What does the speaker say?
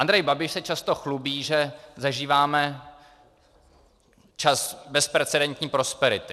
Andrej Babiš se často chlubí, že zažíváme čas bezprecedentní prosperity.